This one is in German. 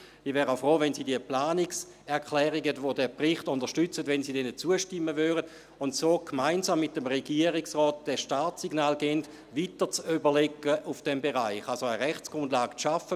Auch wäre ich froh, wenn Sie den Planungserklärungen, welche den Bericht unterstützen, zustimmten, um so gemeinsam mit dem Regierungsrat das Startsignal zu geben, in diesem Bereich weitere Überlegungen anzustellen, das heisst eine Rechtsgrundlage zu schaffen.